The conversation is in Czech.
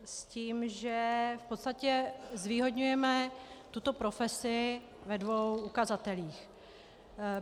S tím, že v podstatě zvýhodňujeme tuto profesi ve dvou ukazatelích.